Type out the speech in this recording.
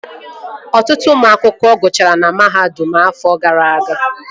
Ọtụtụ ụmụ akwụkwọ gụchara na mahadum afọ gara aga